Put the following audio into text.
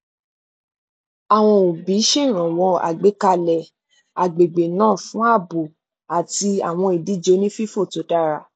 àwọn òbí ṣèrànwọ àgbékalẹ agbègbè náà fún ààbò àti àwọn ìdíje onífífò tó dàra